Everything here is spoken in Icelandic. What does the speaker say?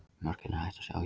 Mörkin er hægt að sjá hér.